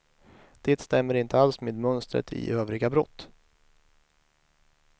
Det stämmer inte alls med mönstret i övriga brott.